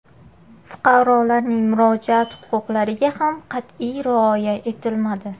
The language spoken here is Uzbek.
Fuqarolarning murojaat huquqlariga ham qat’iy rioya etilmadi.